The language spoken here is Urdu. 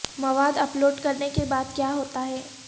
مواد اپ لوڈ کرنے کے بعد کیا ہوتا ہے